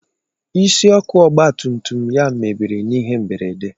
Isi ọkụ ọgba tum tum ya mebiri n'ihe mberede.